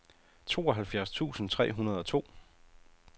tooghalvfjerds tusind tre hundrede og to